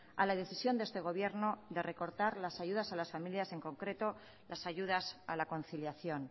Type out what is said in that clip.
a la decisión de este gobierno de recortar las ayudas a las familias en concreto las ayudas a la conciliación